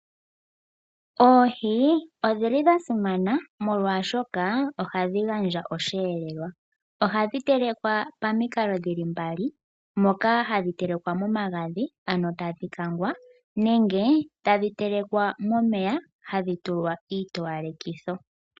Oohi odhili dha simana omolwashoka ohadhi gandja osheelelwa. Ohadhi telekwa pamikalo dhili mbali. Moka hadhi telekwa momagadhi ano tadhi kangwa nenge tadhi telekwa momeya hadhi tulwa iitowalekitho.